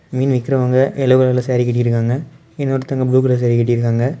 மீன் விக்கிறவங்க எல்லோ கலர்ல சாரி கட்டி இருக்காங்க இன்னொருத்தவங்க ப்ளூ கலர் சாரி கட்டி இருக்காங்க.